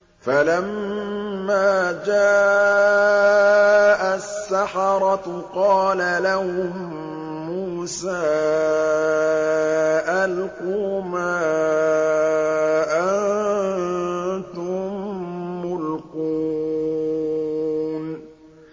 فَلَمَّا جَاءَ السَّحَرَةُ قَالَ لَهُم مُّوسَىٰ أَلْقُوا مَا أَنتُم مُّلْقُونَ